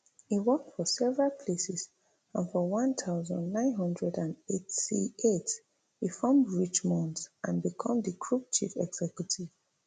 e work for several places and for one thousand, nine hundred and eighty-eight e form richemont and become di group chief executive